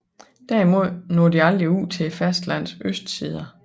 Derimod når de aldrig ud til fastlandenes østsider